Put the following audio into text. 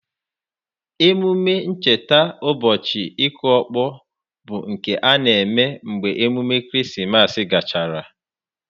Emume ncheta ubochi ịkụ ọkpọ bụ nke a eme mgbe emume Krismas gachara.